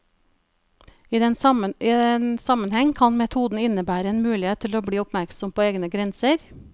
I den sammenheng kan metoden innebære en mulighet til å bli oppmerksom på egne grenser.